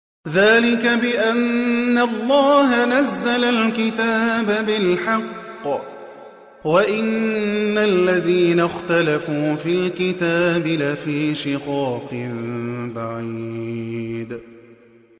ذَٰلِكَ بِأَنَّ اللَّهَ نَزَّلَ الْكِتَابَ بِالْحَقِّ ۗ وَإِنَّ الَّذِينَ اخْتَلَفُوا فِي الْكِتَابِ لَفِي شِقَاقٍ بَعِيدٍ